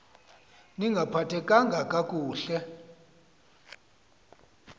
ni ngaphathekanga kakuhle